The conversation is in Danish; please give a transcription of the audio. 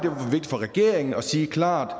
for regeringen at sige klart